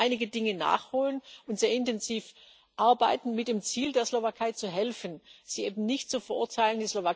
Aber wir werden einige Dinge nachholen und sehr intensiv arbeiten, mit dem Ziel, der Slowakei zu helfen, sie eben nicht zu verurteilen.